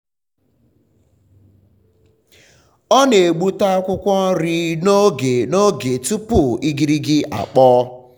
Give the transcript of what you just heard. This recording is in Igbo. ọ na-egbute akwụkwọ nri n'oge n'oge tupu igirigi akpọọ.